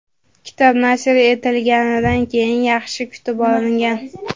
Kitob nashr etilganidan keyin yaxshi kutib olingan.